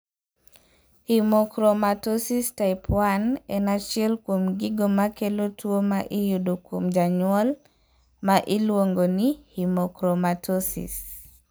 Hemochromatosis type 1 en achiel kuom gigo makelo tuo ma iyudo kuom janyuol ma iluong'o ni hemochromatosis.